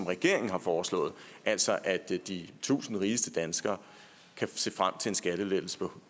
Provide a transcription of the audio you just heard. regeringen har foreslået altså at de tusind rigeste danskere kan se frem til en skattelettelse på